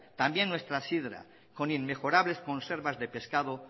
también nuestra sidra con inmejorables conservas de pescado